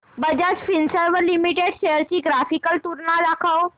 Bajaj Finserv limited shares ची graphical तुलना दाखव